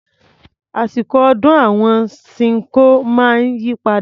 Àsìkọ̀ ọdún àwọn Ṣinkó máa ń yí padà.